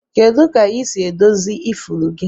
Kedu ka isi edozi ifuru gi?